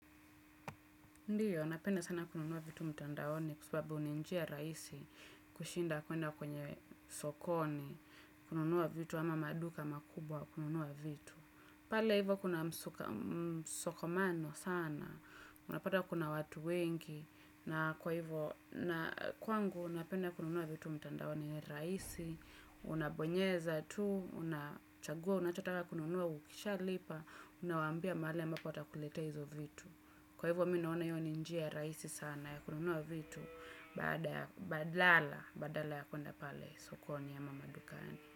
Ndiyo, napenda sana kununua vitu mtandaoni kwa sababu nj njia rahisi kushinda kwenda kwenye sokoni, kununua vitu ama maduka makubwa, kununua vitu. Pale hivyo kuna msokomano sana, unapata kuna watu wengi na kwa hivyo, na kwangu napenda kununua vitu mtandaoni rahisi, unabonyeza tu, unachagua, unachotaka kununua ukishalipa, unawaambia mahali ambapo watakuletea hizo vitu. Kwa hivyo mi naona hiyo ni njia rahisi sana ya kununua vitu badala ya kuenda pale sokoni ama madukani.